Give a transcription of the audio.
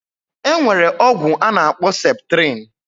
Enwere ogwu anakpo septrin